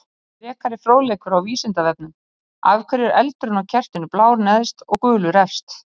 Frekari fróðleikur á Vísindavefnum: Af hverju er eldurinn á kertinu blár neðst og gulur efst?